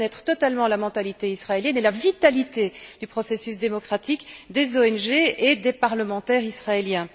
C'est méconnaître totalement la mentalité israélienne et la vitalité du processus démocratique, des ONG et des parlementaires israéliens.